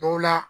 Dɔw la